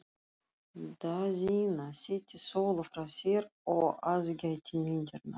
Daðína setti Sólu frá sér og aðgætti myndirnar.